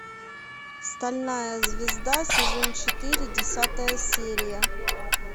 стальная звезда сезон четыре десятая серия